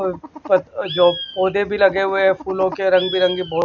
अ पौ जो पौधे भी लगे हुए हैं फूलों के रंग बिरंगे बहुत--